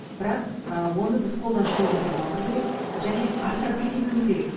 бірақ ы оны біз қолдан шоу жасамауымыз керек және асыра сілтемеуіміз керек